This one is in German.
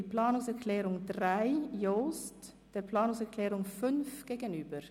Wir stellen die Planungserklärung 3, Jost, der Planungserklärung 5, Etter, gegenüber.